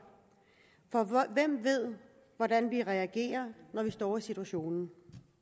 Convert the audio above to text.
for hvem ved hvordan vi reagerer når vi står i situationen